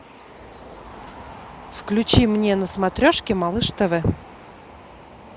включи мне на смотрешке малыш тв